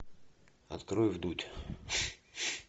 открой вдудь